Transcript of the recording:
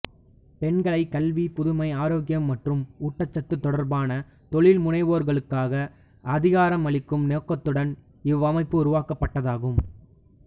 பெண்களை கல்வி புதுமை ஆரோக்கியம் மற்றும் ஊட்டச்சத்து தொடர்பான தொழில்முனைவோர்களாக்க அதிகாரம் அளிக்கும் நோக்கத்துடன் இவ்வமைப்பு உருவாக்கப்பட்டதாகும்